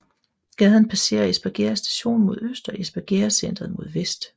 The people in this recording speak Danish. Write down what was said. Gaden passerer Espergærde Station mod øst og Espergærdecentret mod vest